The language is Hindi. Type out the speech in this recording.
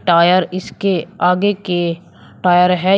टायर इसके आगे के टायर है।